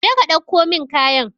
Je ka dauko min kayan.